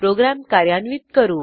program कार्यान्वित करू